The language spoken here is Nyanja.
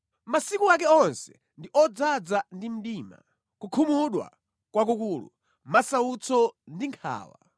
Masiku ake onse ndi odzaza ndi mdima, kukhumudwa kwakukulu, masautso ndi nkhawa.